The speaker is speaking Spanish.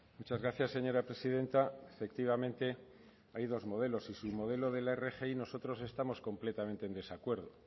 muchas gracias señora presidenta efectivamente hay dos modelos y su modelo de la rgi nosotros estamos completamente en desacuerdo